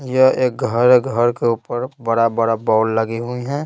यह एक घर है घर के ऊपर बड़ा-बड़ा बॉल लगे हुए हैं।